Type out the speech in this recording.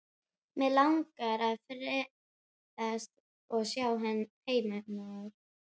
Mig langar að ferðast og sjá heiminn maður.